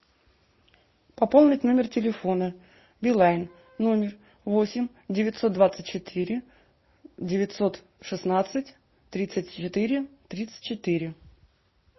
пополнить номер телефона билайн номер восемь девятьсот двадцать четыре девятьсот шестнадцать тридцать четыре тридцать четыре